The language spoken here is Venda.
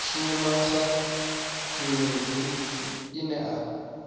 shuma sa zhendedzi ine a